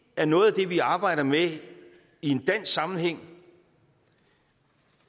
er noget af det vi arbejder med i en dansk sammenhæng